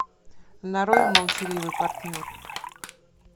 нарой молчаливый партнер